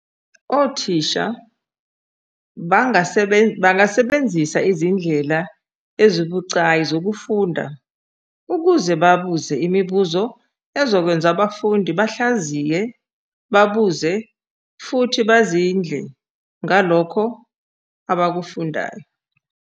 Othisha bangasebenzisa izindlela ezibucayi zokufunda ukuze babuze imibuzo ezokwenza abafundi bahlaziye, babuze futhi bazindle ngalokho abakufundayo.